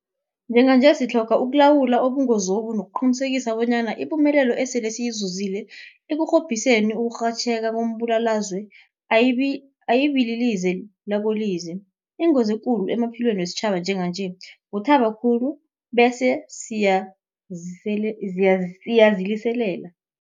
Njenganje sitlhoga ukulawula ubungozobu nokuqinisekisa bonyana ipumelelo esele siyizuzile ekurhobhiseni ukurhatjheka kombulalazwe ayibililize lakolize. Ingozi ekulu emaphilweni wesitjhaba njenganje kuthaba khulu bese siyaziliselela.